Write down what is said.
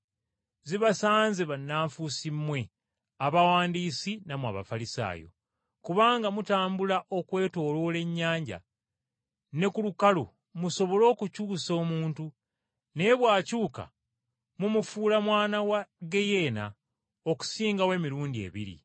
Zibasanze bannanfuusi mmwe Abawandiisi nammwe Abafalisaayo! Kubanga mutambula okwetooloola ennyanja ne ku lukalu musobole okukyusa omuntu, naye bw’akyuka, mumufuula mwana wa ggeyeena okusingawo emirundi ebiri.